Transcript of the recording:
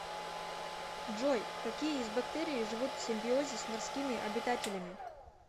джой какие из бактерий живут в симбиозе с морскими обитателями